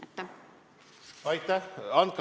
Aitäh!